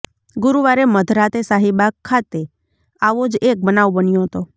ગુરુવારે મધરાત્રે શાહીબાગ ખાતે આવો જ એક બનાવ બન્યો હતો